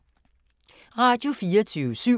Radio24syv